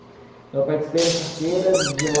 Então, eu participei dessa feira de lá...